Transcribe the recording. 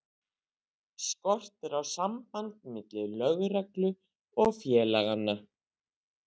Skortir á samband milli lögreglu og félaganna?